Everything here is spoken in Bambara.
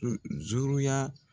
.